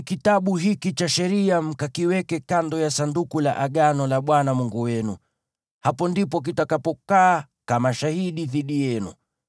“Chukueni Kitabu hiki cha Sheria mkakiweke kando ya Sanduku la Agano la Bwana Mungu wenu. Hapo ndipo kitakapokaa kama shahidi dhidi yenu.